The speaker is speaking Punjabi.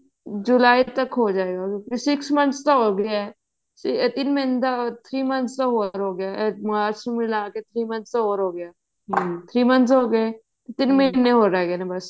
ਜੁਲਾਈ ਤੱਕ ਹੋਜੇਗਾ six months ਦਾ ਹੋਗਿਆ ਤਿੰਨ ਮਹੀਨੇ ਦਾ three months ਦਾ ਹੋਰ ਹੋਗਿਆ ਮਾਰਚ ਨੂੰ ਮਿਲਾ ਕੇ three months ਦਾ ਹੋਗਿਆ ਤਿੰਨ ਮਹੀਨੇ ਹੋਰ ਰਹਿ ਗਏ ਨੇ ਬਸ